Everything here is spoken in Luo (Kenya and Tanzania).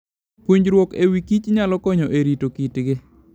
Puonjruok e wi kich nyalo konyo e rito kitgi.